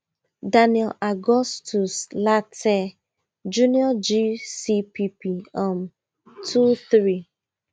daniel augustus lartey junior gcpp um two three